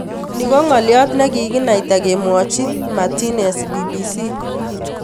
No ko ngaliot nikikenaita kimwochi Martinez BBC.